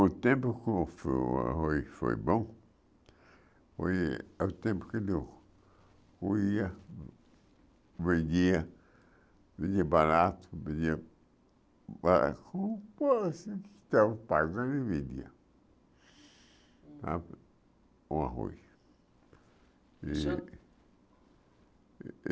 O tempo que o fo o arroz foi bom, foi o tempo que de eu ia, vendia, vendia barato, vendia bara, a pagando e vendia a o arroz. O senhor